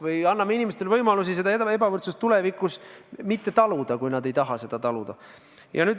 Või anname inimestele võimaluse seda ebavõrdsust tulevikus mitte taluda, kui nad ei taha seda taluda.